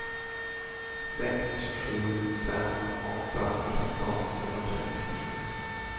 sex sju fem åtta nitton femhundrasextiosju